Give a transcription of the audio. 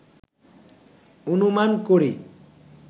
অনুমান করি